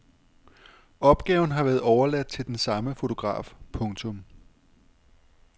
Opgaven har været overladt til den samme fotograf. punktum